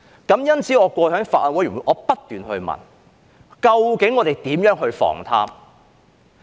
因此，我過去在法案委員會不斷詢問，究竟我們如何防貪？